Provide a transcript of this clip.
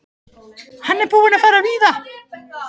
Hann er búinn að fara víða.